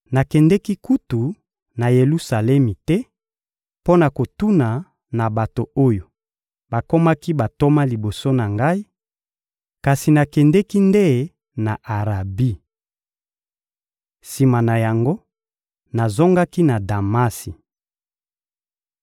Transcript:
Nakendeki kutu na Yelusalemi te mpo na kokutana na bato oyo bakomaki bantoma liboso na ngai, kasi nakendeki nde na Arabi. Sima na yango, nazongaki na Damasi.